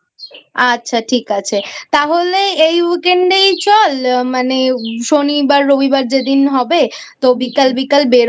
আচ্ছা ঠিক আছে তাহলে এই Weekend এই চল NonHumanVocal মানে শনি বা রবিবার যেদিন হবে তো বিকাল বিকাল বেরোবো